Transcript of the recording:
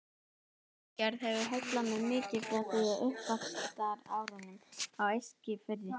Útgerð hefur heillað mig mikið frá því á uppvaxtarárunum á Eskifirði.